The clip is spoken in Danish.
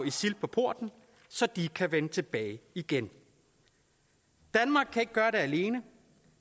isil på porten så de kan vende tilbage igen danmark kan ikke gøre det alene